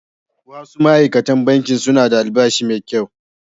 Wasu ma’aikatan Bankin suna da albashi mai kyau